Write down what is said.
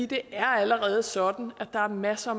det er allerede sådan at der er masser